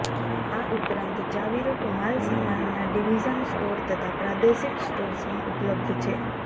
આ ઉપરાંત ચાવીરૂપ માલસામાનમાં ડિવિઝન સ્ટોર તથા પ્રાદેશિક સ્ટોર્સમાં ઉપલબ્ધ છે